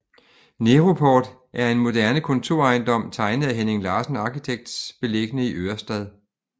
Neroport er en moderne kontorejendom tegnet af Henning Larsen Architects beliggende i Ørestad